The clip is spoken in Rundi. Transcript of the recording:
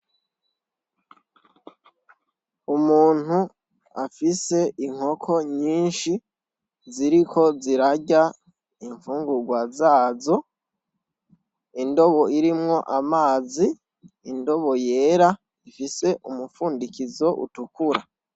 Umuntu afise inkoko nyinshi ziriko zirarya ifungurwa zazo ,indobo irimwo amazi indobo yera ifise umupfundikizo utukura